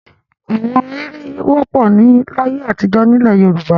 Àwọn ahéré wọ́pọ̀ láyé àtijọ́ nílẹ̀ Yorùbá.